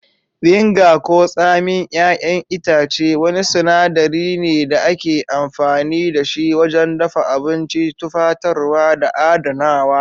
Vinegar ko tsamin 'y'yan itace wani sinadari ne da ake amfani da shi wajen dafa abinci, tufatarwa, da adanawa.